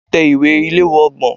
Tẹ ìwé ìléwọ́ ọgbọ̀n.